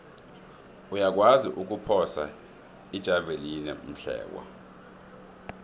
uyakwazi ukuphosa ijavelina umhlekwa